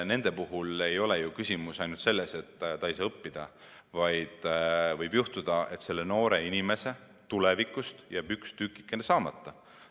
Nende puhul ei ole ju küsimus ainult selles, et nad ei saa õppida, vaid võib juhtuda, et nende noorte inimeste tulevikus jääb üks tükikene saamata.